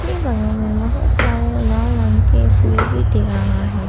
इसके बगल में बहुत सारे लाल रंग के फूल भी दिख रहा है।